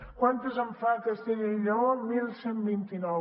quantes en fa castella i lleó onze vint nou